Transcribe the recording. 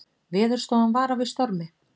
Veðurstofan varar við stormi